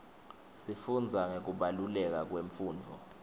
sifundza ngekubaluleka kwemfundvo